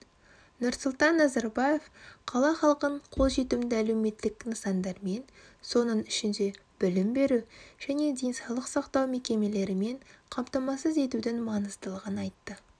нұрсұлтан назарбаев қала халқын қолжетімді әлеуметтік нысандармен соның ішінде білім беру және денсаулық сақтау мекемелерімен қамтамасыз етудің маңыздылығын айтты